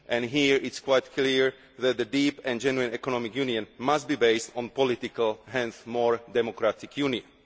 Here it is quite clear that a deep and genuine economic union must be based on political, and hence more democratic, union.